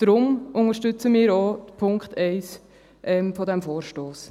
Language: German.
Deshalb unterstützen wir auch den Punkt 1 dieses Vorstosses.